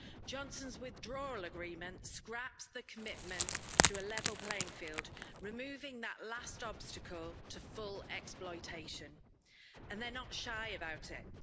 Johnson's withdrawal agreement scraps the commitment to a level playing field, removing that last obstacle to full exploitation and they're not shy about it.